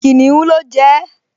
Kìnìún ló jẹ ẹ́